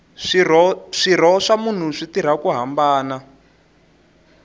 swirho swa munhu swi tirha ku hambana